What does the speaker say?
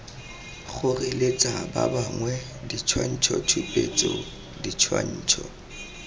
kgoreletsa ba bangwe ditshwantshotshupetso ditshwantsho